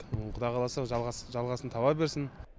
құдай қаласа жалғасын таба берсін